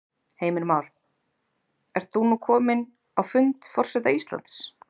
Heimir Már: Ert þú nú kominn á fund forseta Íslands?